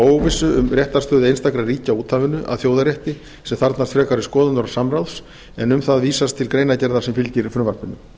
óvissu um réttarstöðu einstakra ríkja á úthafinu að þjóðarétti sem þarfnast frekari skoðunar og samráðs en um það vísast til greinargerðar sem fylgir frumvarpinu